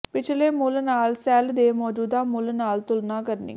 ਪਿਛਲੇ ਮੁੱਲ ਨਾਲ ਸੈਲ ਦੇ ਮੌਜੂਦਾ ਮੁੱਲ ਨਾਲ ਤੁਲਨਾ ਕਰਨੀ